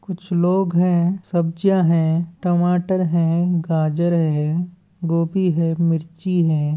कुछ लोग हैं सब्जियां हैं टमाटर हैं गाजर हैं गोभी हैं मिर्ची हैं।